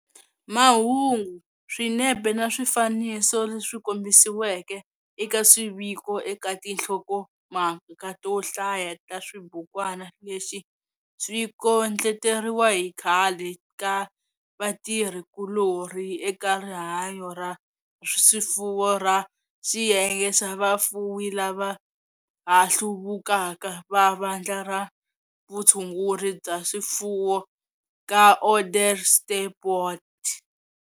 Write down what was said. Mahungu, swinepe na swifaniso leswi kombisiweke eka swiviko eka tinhlokomhaka to hlaya ta xibukwana lexi swi kondleteriwa hi khale ka vatirhi kulorhi eka Rihanyo ra Swifuwo ra Xiyenge xa Vafuwi lava ha Hluvukaka va Vandla ra Vutshunguri bya swifuwo ra Onderstepoort.